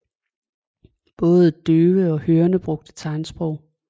Både døve og hørende brugte tegnsprog